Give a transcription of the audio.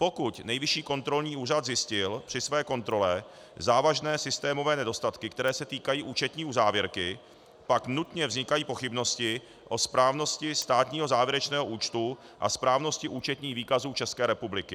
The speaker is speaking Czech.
Pokud Nejvyšší kontrolní úřad zjistil při své kontrole závažné systémové nedostatky, které se týkají účetní uzávěrky, pak nutně vznikají pochybnosti o správnosti státního závěrečného účtu a správnosti účetních výkazů České republiky.